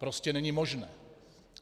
Prostě není možné.